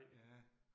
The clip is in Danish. Ja